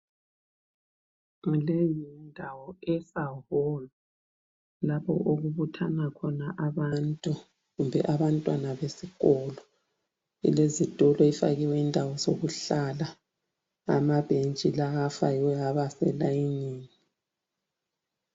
Leyo yindawo esaholu lapho okubuthana khona abantu kumbe abantwana besikolo. Kulezitulo, ifakiwe indawo zokuhlala amabhentshi lawa afakiwe aba selayinini.